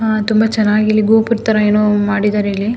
ಆಹ್ಹ್ ತುಂಬ ಚೆನ್ನಾಗಿ ಇಲ್ಲಿ ಗೋಪುರದ್ ತರ ಏನೋ ಮಾಡಿದ್ದಾರೆ ಇಲ್ಲಿ.